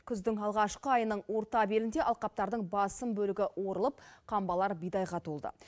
күздің алғашқы айының орта белінде алқаптардың басым бөлігі орылып қамбалар бидайға толды